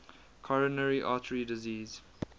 coronary artery disease